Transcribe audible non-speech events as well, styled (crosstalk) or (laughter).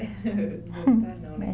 (laughs) Voltar não, né?